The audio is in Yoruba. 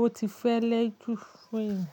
ó ti fẹ́lẹ́ jú fún èmi.